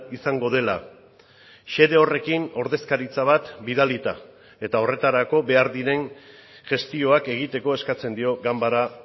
izango dela xede horrekin ordezkaritza bat bidalita eta horretarako behar diren gestioak egiteko eskatzen dio ganbara